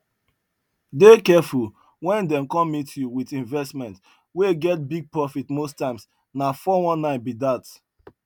dey careful when dem come meet you with investment wey get big profit most times na 419 be that